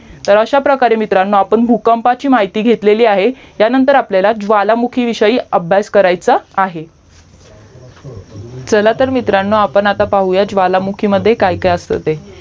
अश्या प्रकारे मित्रांनो भूकंपाची माहिती घेतलेली आहे हयानंतर आपल्याला ज्वालामुखी विषयी अभ्यास कराच आहे चला तर मित्रांनो आपण आता पाहुयात की ज्वालामुखी मध्ये काय काय असते ते